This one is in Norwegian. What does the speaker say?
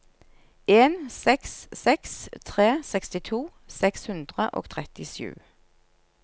en seks seks tre sekstito seks hundre og trettisju